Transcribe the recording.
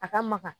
A ka maka